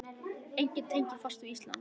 Engin tenging fannst við Ísland.